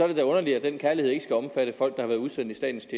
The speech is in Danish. det da underligt at den kærlighed ikke skal omfatte folk der har været udsendt i statens